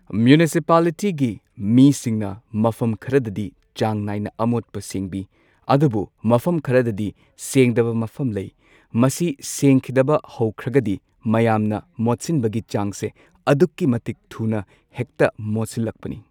ꯃ꯭ꯌꯨꯅꯤꯁꯤꯄꯥꯜꯂꯤꯇꯤꯒꯤ ꯃꯤꯁꯤꯡꯅ ꯃꯐꯝ ꯈꯔꯗꯗꯤ ꯆꯥꯡ ꯅꯥꯏꯅ ꯑꯃꯣꯠꯄ ꯁꯦꯡꯕꯤ ꯑꯗꯨꯕꯨ ꯃꯐꯝ ꯈꯔꯗꯗꯤ ꯁꯦꯡꯗꯕ ꯃꯐꯝ ꯂꯩ ꯃꯁꯤ ꯁꯦꯡꯈꯤꯗꯕ ꯍꯧꯈ꯭ꯔꯒꯗꯤ ꯃꯌꯥꯝꯅ ꯃꯣꯠꯁꯤꯟꯕꯒꯤ ꯆꯥꯡꯁꯦ ꯑꯗꯨꯛꯀꯤ ꯃꯇꯤꯛ ꯊꯨꯅ ꯍꯦꯛꯇ ꯃꯣꯠꯁꯤꯜꯂꯛꯄꯅꯤ꯫